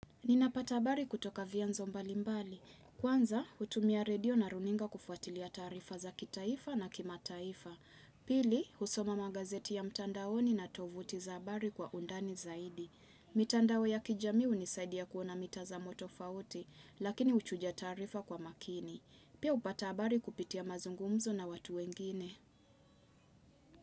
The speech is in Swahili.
Ninapata habari kutoka vianzo mbalimbali. Kwanza, hutumia redio na runinga kufuatilia taarifa za kitaifa na kimataifa. Pili, husoma magazeti ya mtandaoni na tovuti za habari kwa undani zaidi. Mitandao ya kijamii hunisaidia kuona mitazamo tofauti, lakini huchuja taarifa kwa makini. Pia upata habari kupitia mazungumzo na watu wengine.